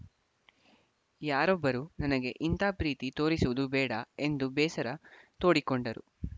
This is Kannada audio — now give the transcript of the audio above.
ಯಾರೊಬ್ಬರೂ ನನಗೆ ಇಂಥ ಪ್ರೀತಿ ತೋರಿಸುವುದು ಬೇಡ ಎಂದು ಬೇಸರ ತೋಡಿಕೊಂಡರು